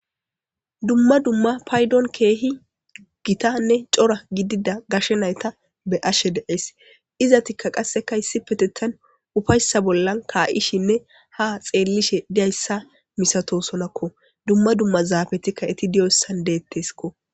Kumma dumma paydon keehi gitanne cora gidida gashe nayta be ashe deees izatikka qasseka issi petetan ufayssa bollan kaa7ishinne ha xeellishe diyayssa misatosonakko dumma dumma zaabetikka iti diyoyssan deetteskko.